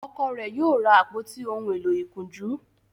Ọkọ rẹ yíò ra àpótí òún èló ìkunjú